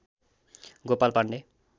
Gopal Pandey